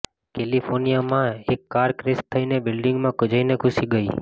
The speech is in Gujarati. કૈલિફોનીયા માં એક કાર ક્રેશ થઈને બિલ્ડિંગમાં જઈને ઘુસી ગયી